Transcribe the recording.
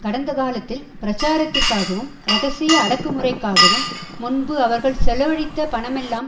கடந்த காலத்தில் பிரச்சாரத்திற்காகவும் இரகசிய அடக்குமுறைக்காகவும் முன்பு அவர்கள் செலவழித்த பணமெல்லாம்